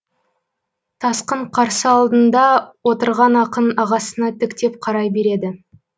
тасқын қарсы алдында отырған ақын ағасына тіктеп қарай береді